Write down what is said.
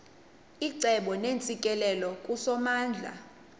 icebo neentsikelelo kusomandla